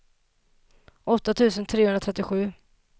åtta tusen trehundratrettiosju